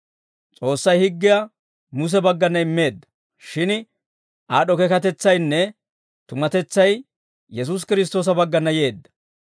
S'oossay higgiyaa Muse baggana immeedda; shin aad'd'o keekatetsaynne tumatetsay Yesuusi Kiristtoosa baggana yeedda.